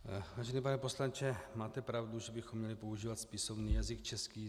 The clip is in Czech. Vážený pane poslanče, máte pravdu, že bychom měli používat spisovný jazyk český.